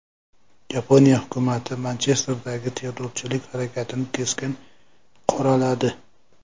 Yaponiya hukumati Manchesterdagi terrorchilik harakatini keskin qoraladi.